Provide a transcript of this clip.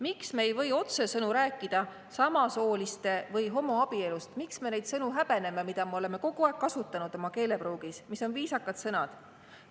Miks me ei või otsesõnu rääkida samasooliste või homoabielust, miks me häbeneme neid sõnu, mida me oleme kogu aeg kasutanud oma keelepruugis ja mis on viisakad sõnad?